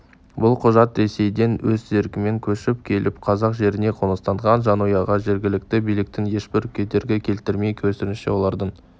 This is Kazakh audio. бұл құжат ресейден өз еркімен көшіп келіп қазақ жеріне қоныстанған жанұяға жергілікті биліктің ешбір кедергі келтірмей керісінше олардың